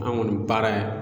An ga nin baara in